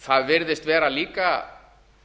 það virðist vera líka